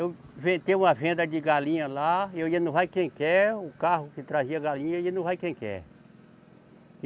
Eu inventei uma venda de galinha lá, e eu ia, no vai quem quer, o carro que trazia a galinha, ia, no vai quem quer.